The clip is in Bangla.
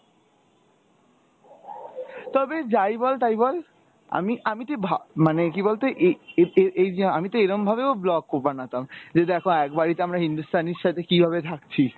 তবে যাই বল তাই বল আমি আমি তুই ভা মানে কী বল তো এই এ~ এ~ এই যে আমি তো এরম ভাবেও blog বানাতাম, যে দেখো এক বাড়িতে আমরা হিন্দুস্তানির সাথে কীভাবে থাকছি।